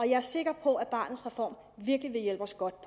jeg er sikker på at barnets reform virkelig vil hjælpe os godt